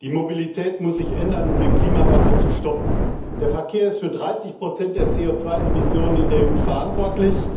Die Mobilität muss sich ändern, um den Klimawandel zu stoppen. Der Verkehr ist für 30 der CO Emissionen in der EU verantwortlich,